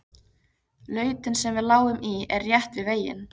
Lautin sem við lágum í er rétt við veginn.